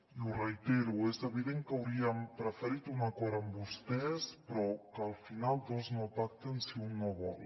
i ho reitero és evident que hauríem preferit un acord amb vostès però que al final dos no pacten si un no vol